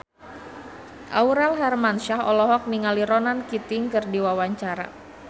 Aurel Hermansyah olohok ningali Ronan Keating keur diwawancara